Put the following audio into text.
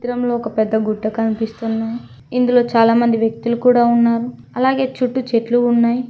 చిత్రంలో ఒక పెద్ద గుట్ట కనిపిస్తున్నాయ్ ఇందులో చాలామంది వ్యక్తులు కూడా ఉన్నారు అలాగే చుట్టూ చెట్లు ఉన్నాయ్.